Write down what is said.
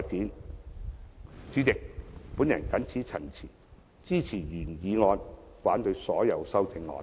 代理主席，我謹此陳辭，支持原議案，反對所有修正案。